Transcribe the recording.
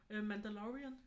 Øh Mandalorian